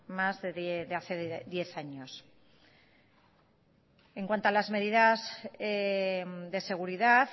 diez años en cuanto a las medidas de seguridad